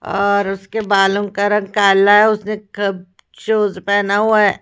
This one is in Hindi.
और उसके बालों का रंग काला है उसने खब शूज पहना हुआ है।